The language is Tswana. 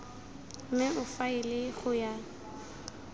mme o faele go ya